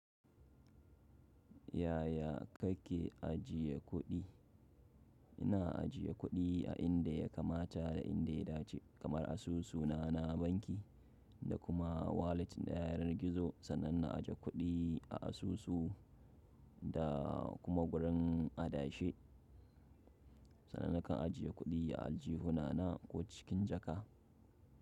Yaya kake ajiye kuɗi? Ina ajiye kuɗi a inda ya kamata da inda ya dace, kamar asusuna na banki da kuma walat ɗayar gizo. Sannan na aje kuɗi a asusu da kuma gurin adashe. Sannan na kan ajiye kuɗi a aljihuna na ko cikin jaka.